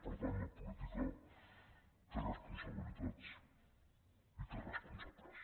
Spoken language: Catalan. per tant la política té responsabilitats i té responsables